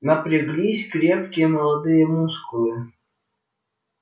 напряглись крепкие молодые мускулы